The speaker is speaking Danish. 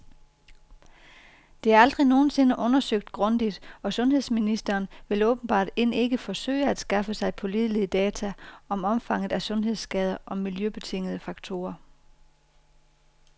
Det er aldrig nogensinde undersøgt grundigt, og sundhedsministeren vil åbenbart end ikke forsøge at skaffe sig pålidelige data om omfanget af sundhedsskader og miljøbetingede faktorer.